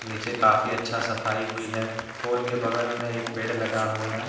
नीचे काफी अच्छा सफाई हुई है पोल के बगल में एक पेड़ लगा हुआ है।